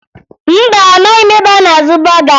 Mba, amaghị m ebe a na-azụ bọga